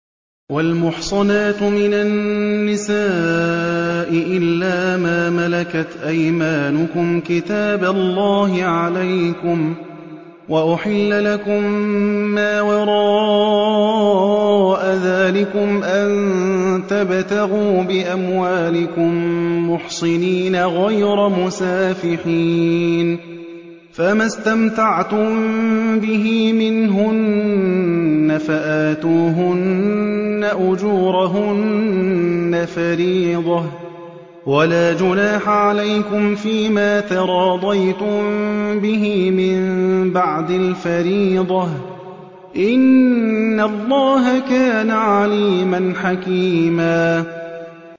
۞ وَالْمُحْصَنَاتُ مِنَ النِّسَاءِ إِلَّا مَا مَلَكَتْ أَيْمَانُكُمْ ۖ كِتَابَ اللَّهِ عَلَيْكُمْ ۚ وَأُحِلَّ لَكُم مَّا وَرَاءَ ذَٰلِكُمْ أَن تَبْتَغُوا بِأَمْوَالِكُم مُّحْصِنِينَ غَيْرَ مُسَافِحِينَ ۚ فَمَا اسْتَمْتَعْتُم بِهِ مِنْهُنَّ فَآتُوهُنَّ أُجُورَهُنَّ فَرِيضَةً ۚ وَلَا جُنَاحَ عَلَيْكُمْ فِيمَا تَرَاضَيْتُم بِهِ مِن بَعْدِ الْفَرِيضَةِ ۚ إِنَّ اللَّهَ كَانَ عَلِيمًا حَكِيمًا